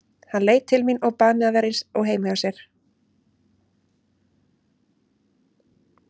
Hann leit til mín og bað mig að vera eins og heima hjá mér.